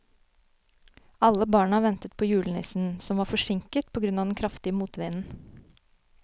Alle barna ventet på julenissen, som var forsinket på grunn av den kraftige motvinden.